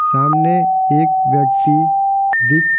सामने एक व्यक्ति दिख--